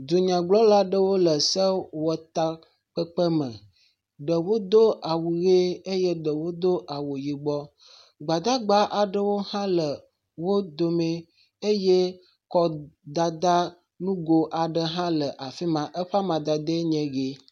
Dunyagblɔla aɖewo le sewɔtakpekpe me. Ɖewo do awu ʋi eye ɖewo do awu yibɔ. Gbadagba aɖewo hã le wo dome eye akɔdada ƒe nugo aɖe hã le afi ma. Eƒe amadede enye ʋi.